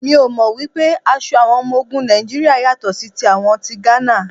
Mi ò mọ̀ wípé aṣọ àwọn ọmọ ogun Nàìjíríà yàtọ̀ sí ti àwọn ti Gánà.